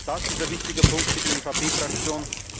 Auch das ist ein wichtiger Punkt für die EVP Fraktion.